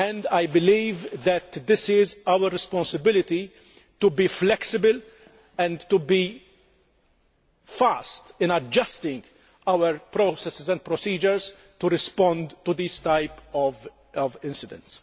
I believe that this is our responsibility to be flexible and to be fast in adjusting our processes and procedures to respond to these types of incidents.